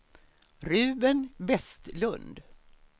Ruben Vestlund